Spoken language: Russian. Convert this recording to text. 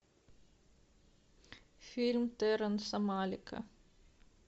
фильм терренса малика